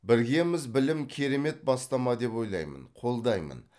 біргеміз білім керемет бастама деп ойлаймын қолдаймын